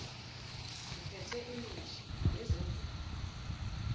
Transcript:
ziphethe imishiza nezimvubu